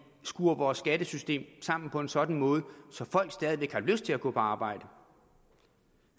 skruer vores skattesystem sammen på en sådan måde at folk stadig væk har lyst til at gå på arbejde og